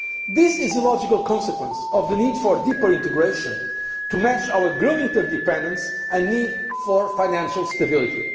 union. This is the logical consequence of the need for deeper integration to match our growing interdependence and need for financial stability.